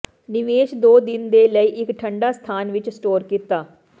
ਨਿਵੇਸ਼ ਦੋ ਦਿਨ ਦੇ ਲਈ ਇੱਕ ਠੰਡਾ ਸਥਾਨ ਵਿੱਚ ਸਟੋਰ ਕੀਤਾ